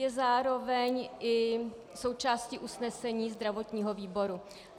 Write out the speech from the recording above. Je zároveň i součástí usnesení zdravotního výboru.